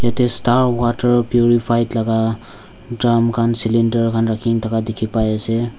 yatae start water purified laka drum khan calender khan rakhina thaka dikhipaias.